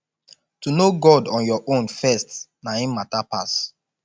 to know god on your own first na im mata pass